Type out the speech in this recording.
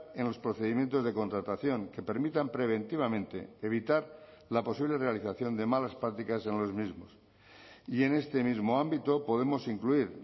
en los procedimientos de contratación que permitan preventivamente evitar la posible realización de malas prácticas en los mismos y en este mismo ámbito podemos incluir